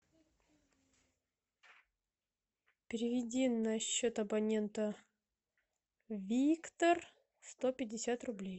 переведи на счет абонента виктор сто пятьдесят рублей